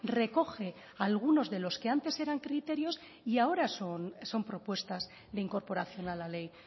recoge algunos de los que antes eran criterios y ahora son propuestas de incorporación a la ley